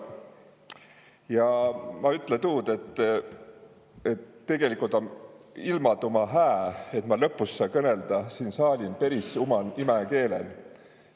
Ja ma ütle tuud, et tegelikult om ilmaduma hää, et ma lõpus siin saalin saa kõnõlda uman imäkeelen.